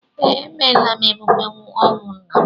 Ee, emeela m emume ọnwụ nna m